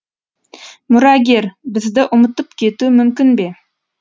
мұрагер бізді ұмытып кетуі мүмкін бе